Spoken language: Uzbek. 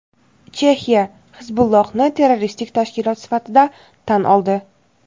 Chexiya "Hizbulloh"ni terroristik tashkilot sifatida tan oldi.